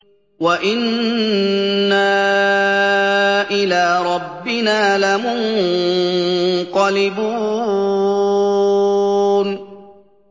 وَإِنَّا إِلَىٰ رَبِّنَا لَمُنقَلِبُونَ